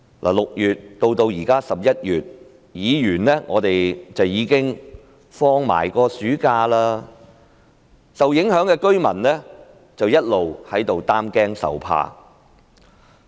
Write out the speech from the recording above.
由6月至現在11月，議員亦已度過了暑假，受影響的居民卻一直在擔驚受怕。